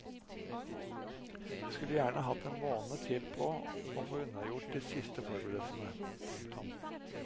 Vi skulle gjerne hatt en måned til på å få unnagjort de siste forberedelsene. punktum